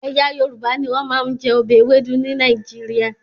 Ẹ̀yà Yorùbá ni wọ́n máa ń jẹ ọbẹ̀ Ewedu ní Nàìjíríà